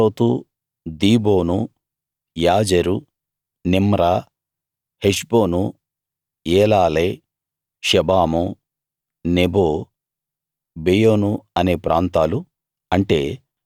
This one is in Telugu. అతారోతు Dibon Jazer Nimrah Heshbon Elealeh Shebam Nebo Beon అనే ప్రాంతాలు